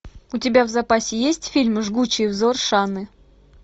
у тебя в запасе есть фильм жгучий взор шаны